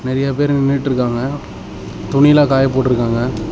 நறைய பேரு நின்னுட்டு இருக்காங்க துணி லாம் காய போட்டு இருக்காங்க.